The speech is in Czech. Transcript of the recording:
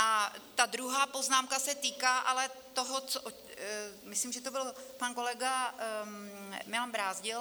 A ta druhá poznámka se týká ale toho, co - myslím, že to byl pan kolega Milan Brázdil.